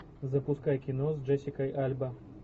запускай кино с джессикой альба